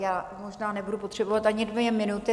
Já možná nebudu potřebovat ani dvě minuty.